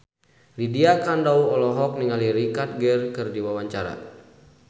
Lydia Kandou olohok ningali Richard Gere keur diwawancara